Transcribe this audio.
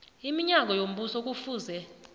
iminyango yombuso kufuze